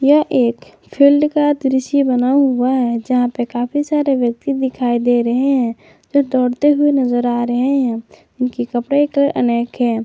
यह एक फील्ड का दृश्य बना हुआ है जहां पे काफी सारे व्यक्ति दिखाई दे रहे हैं जो दौड़ते हुए नजर आ रहे हैं उनके कपड़े का कलर अनेक है।